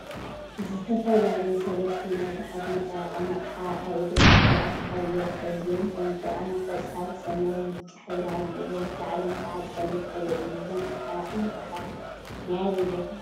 ዝተፈላለዩ ሰለስተ ናይ ጉሓፍ መጠራቀሚ አቅሓ አብ እግሮም ቆልዓ ተሓቢኡ ይርከብ፡፡ እዚኦም ከዓ ቆፃል፣ ሰማያዊን ብጫን ሕብሪ ሃልይዎም ላዕሎም ከዓ ፀሊም ሕብሪ እዩ፡፡ እዞም መጠራቀሚ ጉሓፍ ናይ አበይ ቦታ ሕክምና እዮም?